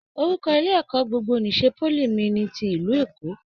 Orúkọ ilé ẹ̀kọ́ gbogbo n'isè poly mí ní tí ìlú Èkó.